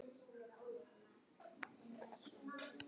Fiskar eru með sporð.